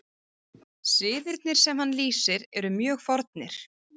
Siðirnir sem hann lýsir eru mjög fornir.